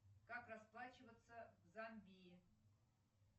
как расплачиваться в замбии